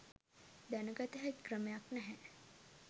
දැනගත හැකි ක්‍රමයක් නැහැ.